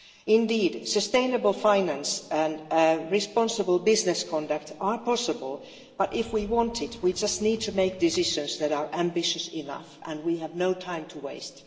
Indeed, sustainable finance and responsible business conduct are possible, but if we want it, we just need to make decisions that are ambitious enough and we have no time to waste.